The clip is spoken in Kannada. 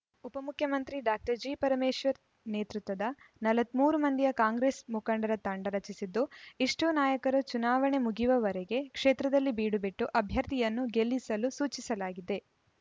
ಉಪಮುಖ್ಯಮಂತ್ರಿ ಡಾಕ್ಟರ್ ಜಿ ಪರಮೇಶ್ವರ್‌ ನೇತೃತ್ವದ ನಲವತ್ತ್ ಮೂರು ಮಂದಿಯ ಕಾಂಗ್ರೆಸ್‌ ಮುಖಂಡರ ತಂಡ ರಚಿಸಿದ್ದು ಇಷ್ಟೂನಾಯಕರು ಚುನಾವಣೆ ಮುಗಿಯುವವರೆಗೆ ಕ್ಷೇತ್ರದಲ್ಲಿ ಬೀಡುಬಿಟ್ಟು ಅಭ್ಯರ್ಥಿಯನ್ನು ಗೆಲ್ಲಿಸಲು ಸೂಚಿಸಲಾಗಿದೆ